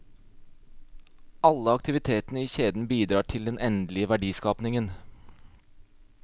Alle aktivitetene i kjeden bidrar til den endelige verdiskapingen.